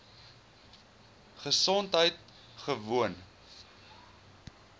gesondheidgewoon